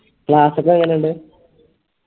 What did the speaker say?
class ഒക്കെ എങ്ങനിണ്ട്